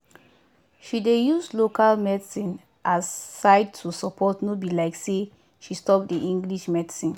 she dey use local medicine as side to support no be like say she stop the english medicine.